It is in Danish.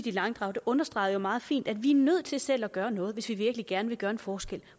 i langdrag understreger jo meget fint at vi er nødt til selv at gøre noget hvis vi virkelig gerne vil gøre en forskel